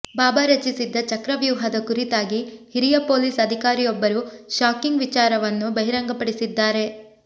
ಬಾಬಾ ರಚಿಸಿದ್ದ ಚಕ್ರವ್ಯೂಹದ ಕುರಿತಾಗಿ ಹಿರಿಯ ಪೊಲೀಸ್ ಅಧಿಕಾರಿಯೊಬ್ಬರು ಶಾಕಿಂಗ್ ವಿಚಾರವನ್ನು ಬಹಿರಂಗಪಡಿಸಿದ್ದಾರೆ